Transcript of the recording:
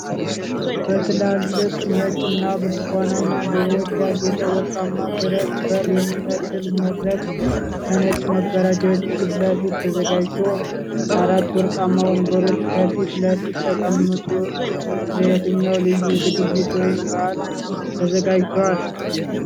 በትላልቅ ነጭ እና ብርቱካናማ አበቦች ያጌጠ፣ ወርቃማ ብረት በር የሚመስል መድረክ ከነጭ መጋረጃዎች ፊት ለፊት ተዘጋጅቶ፣ አራት ወርቃማ ወንበሮች ከፊት ለፊት የተቀመጡት ለየትኛው ልዩ ዝግጅት ወይም በዓል ተዘጋጅቷል?